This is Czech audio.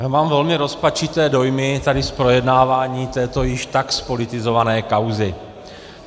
Já mám velmi rozpačité dojmy tady z projednávání této již tak zpolitizované kauzy.